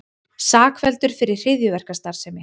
Sakfelldur fyrir hryðjuverkastarfsemi